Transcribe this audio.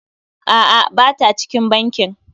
A'a, ba ta cikin bankin.